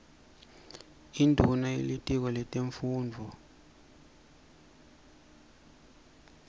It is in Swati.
induuna yetitiko letemnotfo